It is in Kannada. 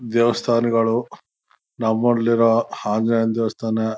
ದೇವಸ್ಥಾನಗಳು ನಮ್ ಊರಲ್ಲಿ ಇರೋ ಆಹ್ಹ್ ಆಂಜಿನೇಯನ್ ದೇವಸ್ಥಾನ